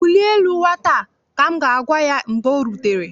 Wulie elu nwata a! ka m ga-agwa ya mgbe o rutere.